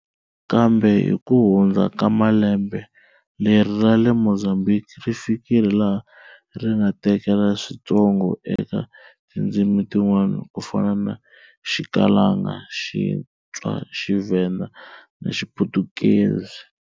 Kambe hi ku hundza ka malembe leri ra le Mozambique ri fikile laha ri nga tekela swintsongo eka tindzimi tin'wani ku fana na Xikalanga, Xitswa, Xivhenda, na Xiputukezi.